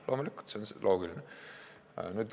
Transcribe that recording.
Loomulikult, see on loogiline.